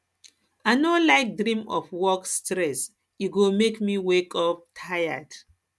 i no like dream of work stress e go make me wake up tired